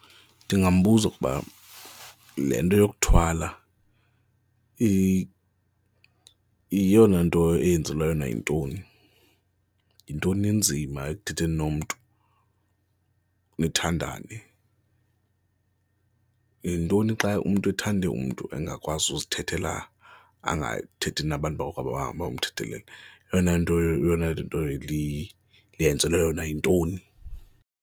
Ndingambuza ukuba le nto yokuthwala eyona nto eyenzelwe yona yintoni? Yintoni le inzima ekuthetheni nomntu, nithandane? Yintoni xa umntu ethande umntu engakwazi ukuzithethela, angathethi nabantu bakokwabo bahamba bayomthethelela? Eyona nto, eyona nto le iyenzelwe yona yintoni?